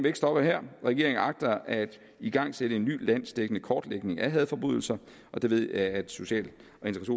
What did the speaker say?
ikke stoppe her regeringen agter at igangsætte en ny landsdækkende kortlægning af hadforbrydelser og det ved jeg at social